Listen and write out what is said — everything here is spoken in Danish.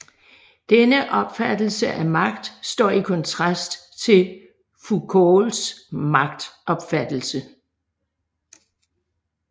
Denne opfattelse af magt står i kontrast til Foucaults magtopfattelse